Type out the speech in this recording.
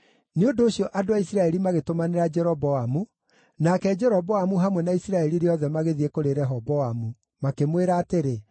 Nĩ ũndũ ũcio andũ a Isiraeli magĩtũmanĩra Jeroboamu, nake Jeroboamu hamwe na Isiraeli rĩothe magĩthiĩ kũrĩ Rehoboamu, makĩmwĩra atĩrĩ: